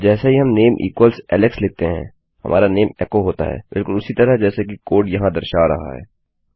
और जैसे ही हम नामे इक्वल्स एलेक्स लिखते हैं हमारा नाम एको होता है बिलकुल उसी तरह जैसा कि कोड यहाँ दर्शा रहा है